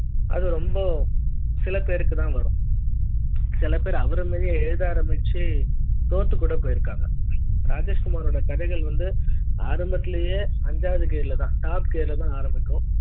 அது ரொம்ப சில பேருக்கு தான் வரும். சில பேரு அவருமாதிரியே எழுத ஆரம்பிச்சு தோத்து கூட போயிருக்காங்க ராஜேஷ்குமார் ஓட கதைகள் வந்து ஆரம்பத்திலேயே அஞ்சாவது gear top gear ஆரம்பிக்கும்